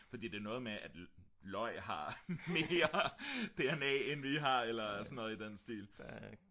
fordi det er noget med at løg har mere dna end vi har eller sådan noget i den stil